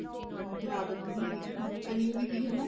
ਫ਼ੇਰ ਆਦਤ ਵੀ ਨੀ ਸੀਗੀ ਹੁਣ ਕਰੀਏ ਵੀ ਕੀ ਹਨਾ